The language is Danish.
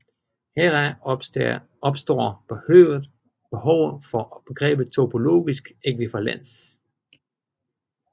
Heraf opstår behovet for begrebet topologisk ækvivalens